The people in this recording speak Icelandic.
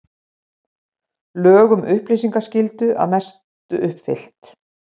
Lög um upplýsingaskyldu að mestu uppfyllt